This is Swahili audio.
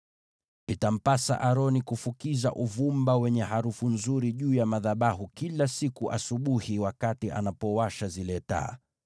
“Itampasa Aroni kufukiza uvumba wenye harufu nzuri juu ya madhabahu kila siku asubuhi wakati anapowasha zile taa.